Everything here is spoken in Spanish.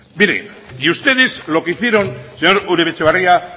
y ustedes lo que hicieron señor uribe etxebarria